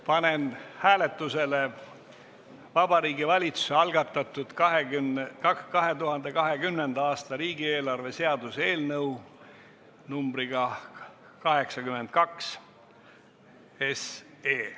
Panen hääletusele Vabariigi Valitsuse algatatud 2020. aasta riigieelarve seaduse eelnõu 82.